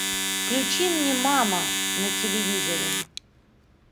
включи мне мама на телевизоре